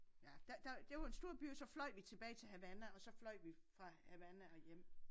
Ja der der det jo en stor by og så fløj vi tilbage til Havana og så fløj vi fra Havana og hjem